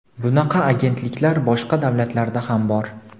Bunaqa agentliklar boshqa davlatlarda ham bor.